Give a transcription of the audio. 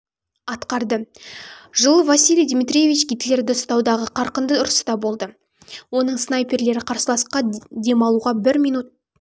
атқарды жыл василий дмитриевич гитлердерді ұстаудағы қарқынды ұрыста болды оның снайперлері қарсыласқа демалуға бір минут